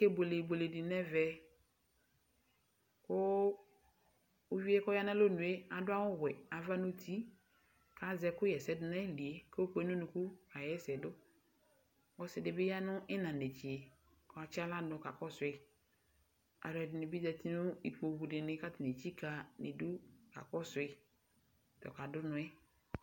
Akebuele ibuele di nɛvɛ, kʋ ivie kʋ ɔya nʋ alɔnu e adʋ awʋ wɛ ava nʋ uti Azɛ ɛkʋ ɣɛsɛdʋ n'ayili e kʋ ayɔkpe nʋ unuku kʋ kaɣɛsɛ dʋƆsi di bi ya nʋ ina nɛtse katsi aɣla dʋ kakɔsʋ yi Alʋ ɛdini bi zati nʋ ikpoku di ni boa kʋ atani etsika idu kakɔsʋ yi ta ɔkadʋ ʋnɔ ɛ